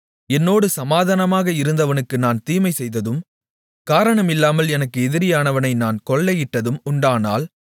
என்னோடு சமாதானமாக இருந்தவனுக்கு நான் தீமைசெய்ததும் காரணமில்லாமல் எனக்கு எதிரியானவனை நான் கொள்ளையிட்டதும் உண்டானால்